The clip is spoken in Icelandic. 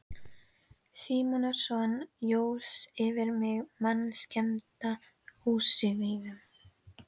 Símonarson jós yfir mig mannskemmandi ósvífni.